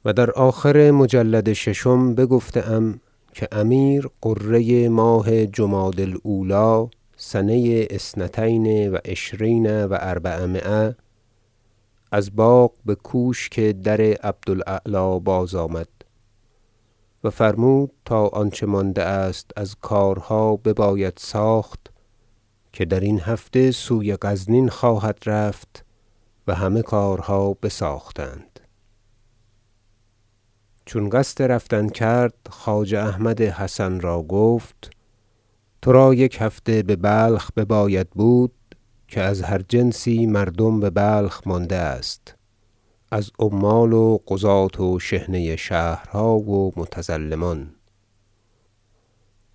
ذکر خروج الامیر مسعود رضی الله عنه من بلخ الی غزنین در آخر مجلد ششم بگفته ام که امیر غره ماه جمادی الاولی سنه اثنتین و عشرین و اربعمایه از باغ بکوشک در عبد الاعلی باز آمد و فرمود تا آنچه مانده است از کارها بباید ساخت که درین هفته سوی غزنین خواهد رفت و همه کارها بساختند چون قصد رفتن کرد خواجه احمد حسن را گفت ترا یک هفته ببلخ بباید بود که از هر جنسی مردم ببلخ مانده است از عمال و قضاة و شحنه شهرها و متظلمان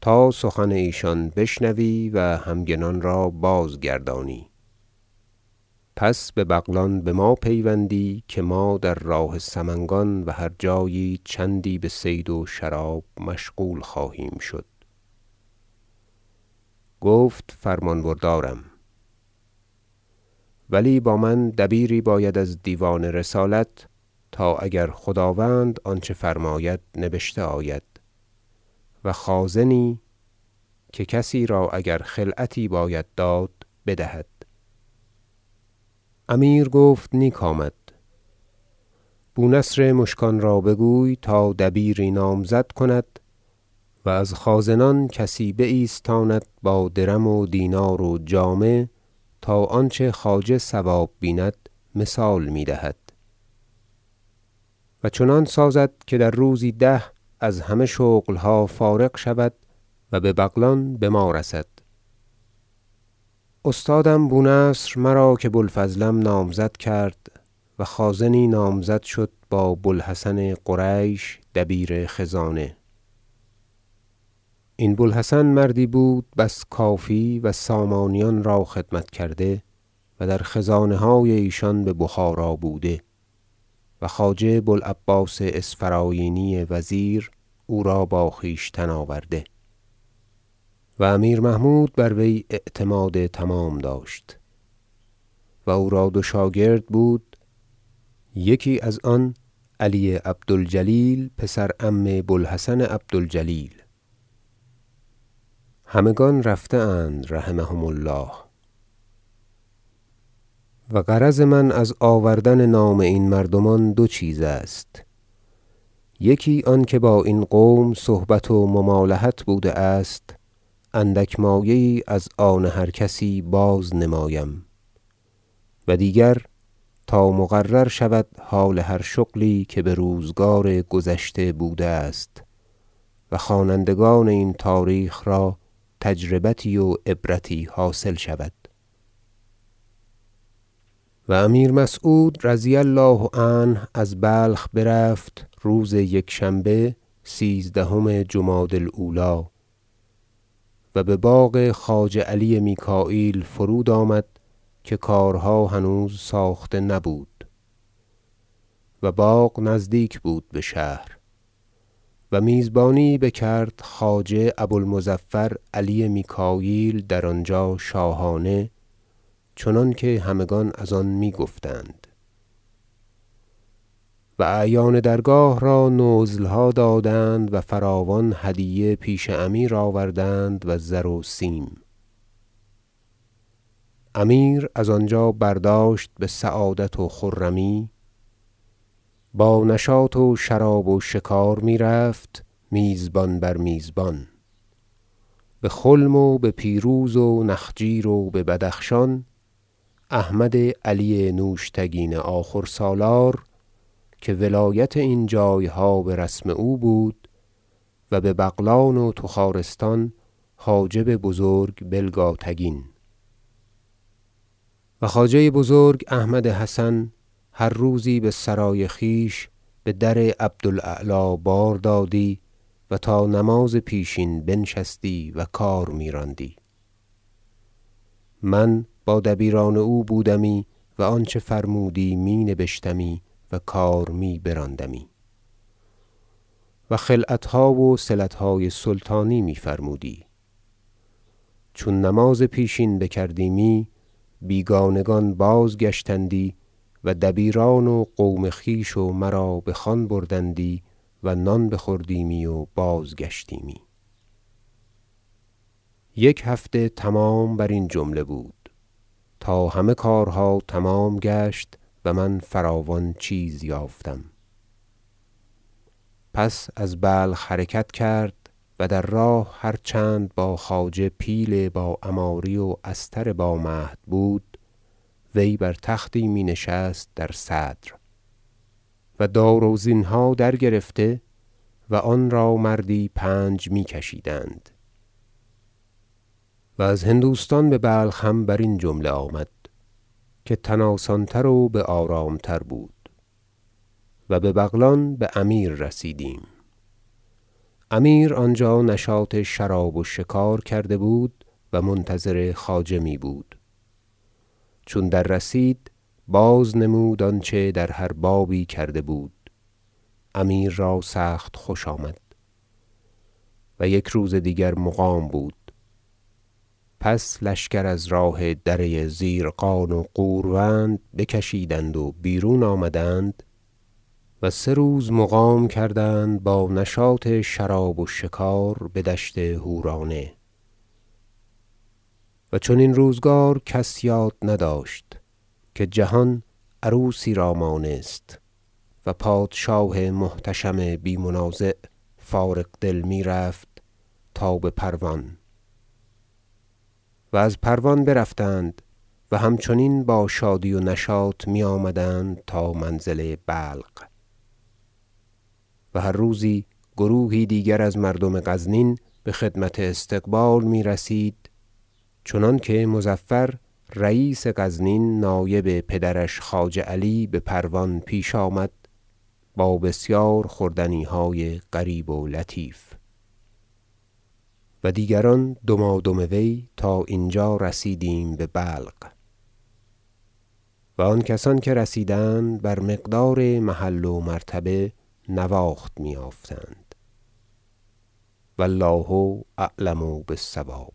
تا سخن ایشان بشنوی و همگنان را بازگردانی پس به بغلان بما پیوندی که ما در راه سمنگان و هر جایی چندی بصید و شراب مشغول خواهیم شد گفت فرمان بردارم ولی با من دبیری باید از دیوان رسالت تا اگر خداوند آنچه فرماید نبشته آید و خازنی که کسی را اگر خلعتی باید داد بدهد امیر گفت نیک آمد بونصر مشکان را بگوی تا دبیری نامزد کند و از خازنان کسی بایستاند با درم و دینار و جامه تا آنچه خواجه صواب بیند مثال می دهد و چنان سازد که در روزی ده از همه شغلها فارغ شود و به بغلان بما رسد استادم بونصر مرا که بوالفضلم نامزد کرد و خازنی نامزد شد بابو الحسن قریش دبیر خزانه این بوالحسن دبیری بود بس کافی و سامانیان را خدمت کرده و در خزانه های ایشان به بخارا بوده و خواجه بوالعباس اسفراینی وزیر او را با خویشتن آورده و امیر محمود بروی اعتماد تمام داشت و او را دو شاگرد بود یکی از آن دو علی عبد الجلیل پسر عم بوالحسن عبد الجلیل همگان رفته اند رحمهم الله و غرض من از آوردن نام این مردمان دو چیز است یکی آنکه با این قوم صحبت و ممالحت بوده است اندک مایه یی از آن هر کسی باز نمایم و دیگر تا مقرر شود حال هر شغلی که بروزگار گذشته بوده است و خوانندگان این تاریخ را تجربتی و عبرتی حاصل شود و امیر مسعود رضی الله عنه از بلخ برفت روز یکشنبه سیزدهم جمادی الاولی و بباغ خواجه علی میکاییل فرود آمد که کارها هنوز ساخته نبود- و باغ نزدیک بود بشهر- و میزبانیی بکرد خواجه ابو المظفر علی میکاییل در آنجا شاهانه چنانکه همگان از آن می- گفتند و اعیان درگاه را نزلها دادند و فراوان هدیه پیش امیر آوردند و زر و سیم امیر از آنجا برداشت بسعادت و خرمی و با نشاط و شراب و شکار میرفت میزبان بر میزبان به خلم و به پیروز و نخجیر و ببدخشان احمد علی نوشتگین آخر سالار که ولایت این جایها برسم او بود و به بغلان و تخارستان حاجب بزرگ بلگاتگین و خواجه بزرگ احمد حسن هر روزی بسرای خویش بدر عبد الاعلی بار دادی و تا نماز پیشین بنشستی و کار میراندی من با دبیران او بودمی و آنچه فرمودی می نبشتمی و کار می براندمی و خلعتها و صلتهای سلطانی می فرمودی چون نماز پیشین بکردیمی بیگانگان بازگشتندی و دبیران و قوم خویش و مرا بخوان بردندی و نان بخوردیمی و باز گشتیمی یک هفته تمام برین جمله بود تا همه کارها تمام گشت و من فراوان چیز یافتم پس از بلخ حرکت کرد و در راه هر چند با خواجه پیل با عماری و استر با مهد بود وی بر تختی می نشست در صدر و داروزنیها در گرفته و آن را مردی پنج می کشیدند و از هندوستان ببلخ هم برین جمله آمد که تن آسان تر و بآرام تر بود و به بغلان بامیر رسیدیم و امیر آنجا نشاط شراب و شکار کرده بود و منتظر خواجه می بود چون در رسید باز نمود آنچه در هر بابی کرده بود امیر را سخت خوش آمد و یک روز دیگر مقام بود پس لشکر از راه دره زیرقان و غوروند بکشیدند و بیرون آمدند و سه روز مقام کردند با نشاط شراب و شکار بدشت حورانه و چنین روزگار کس یاد نداشت که جهان عروسی را مانست و پادشاه محتشم بی منازع فارغ دل می رفت تا بپروان آمدند و از پروان برفتند و هم چنین با شادی و نشاط می آمدند تا منزل بلق و هر روزی گروهی دیگر از مردم غزنین بخدمت استقبال میرسید چنانکه مظفر رییس غزنین نایب پدرش خواجه علی به پروان پیش آمد با بسیار خوردنیهای غریب و لطایف و دیگران دمادم وی تا اینجا که رسیدیم به بلق و آن کسان که رسیدند بر مقدار محل و مرتبه نواخت می یافتند و الله اعلم بالصواب